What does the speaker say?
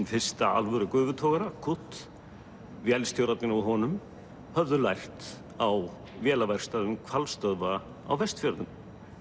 fyrsta alvöru gufutogara vélstjórarnir á honum höfðu lært á vélaverkstæðum hvalstöðva á Vestfjörðum